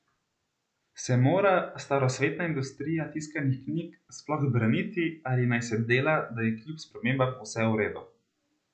Se mora starosvetna industrija tiskanih knjig sploh braniti ali naj se dela, da je kljub spremembam vse v redu?